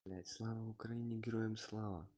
слава украине героям слава